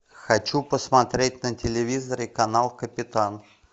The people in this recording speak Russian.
хочу посмотреть на телевизоре канал капитан